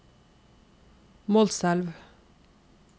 Målselv